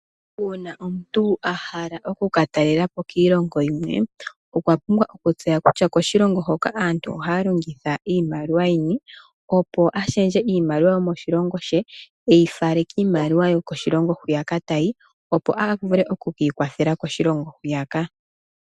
Uuna omuntu a hala oku ka talelapo kiilongo yimwe, okwa pumbwa okutseya kutya koshilongo hoka aantu ohaya longitha iimaliwa yini, opo a pingakanithe iimaliwa yomoshilongo she i ifale kiimaliwa yokoshilongo hwiyaka tayi, opo a vule ku kwiikwathela koshilongo hwiyaka.